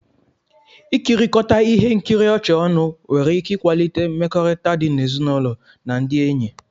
Ikirikota ihe nkiri ọchị ọnụ nwere ike ịkwalite mmekọrịta di n'ezinụlọ na ndị enyi